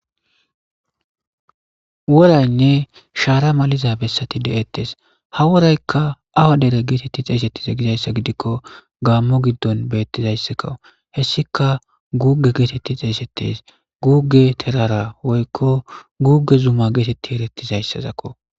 woraynne shaara maliza bessati de7ettes ha woraykka awa dere geetetti xeesettize gizayssa gidikko gaammo giddon bettizayss kawu hessika guuge geetetti xeesettes guuge terara woykko guuge zuma geetetti erettizayssazakko